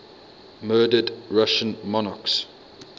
murdered russian monarchs